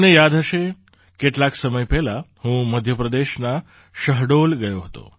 તમને યાદ હશે કેટલાક સમય પહેલાં હું મધ્ય પ્રદેશના શહડોલ ગયો હતો